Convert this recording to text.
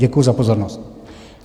Děkuji za pozornost.